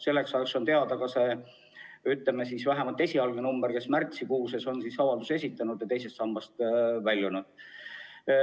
Selleks ajaks on teada ka vähemalt see esialgne arv, kui paljud inimesed on märtsikuus avalduse esitanud ja teisest sambast väljunud.